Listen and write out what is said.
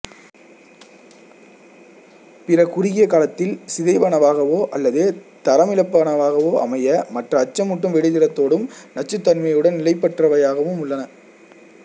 பிற குறுகிய காலத்தில் சிதைவனவாகவோ அல்லது தரமிழப்பனவாகவோ அமைய மற்றவை அச்சமூட்டும் வெடிதிறத்தோடும் நச்சுத்தன்மையுடன் நிலைப்பற்றவையாகவும் உள்ளன